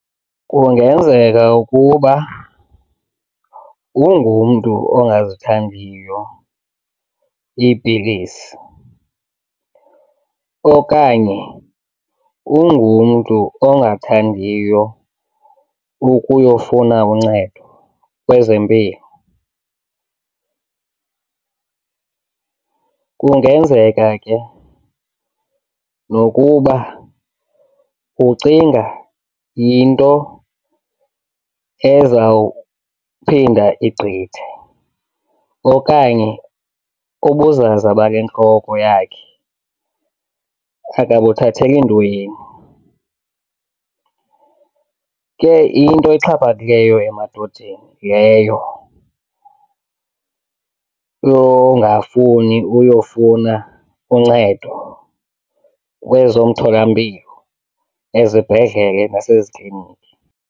Kungenzeka ukuba ungumntu ongazithandiyo iipilisi okanye ungumntu ongathandiyo ukuyofuna uncedo kwezempilo. Kungenzeka ke nokuba ucinga yinto ezawuphinda igqithe okanye ubuzaza bale ntloko yakhe akabuthatheli ntweni. Ke into exhaphakileyo emadodeni yileyo yongafuni uyofuna uncedo kwezomtholampilo, ezibhedlele naseziklinikhi.